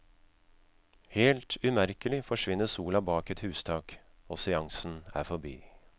Helt umerkelig forsvinner sola bak et hustak, og seansen er forbi.